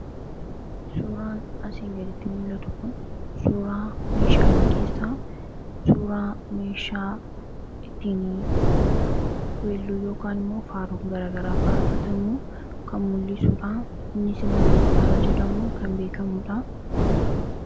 Suuraan asiin gaditti mul'atu kun suuraa meeshaalee keessaa suuraa meeshaa ittiin weelluu yookan immoo faaru garagaraa faarfatamuu kan mul'isuudha innis immoo gitaara jedhamun kan beekamuudha.